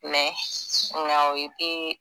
Mɛ nga o e tee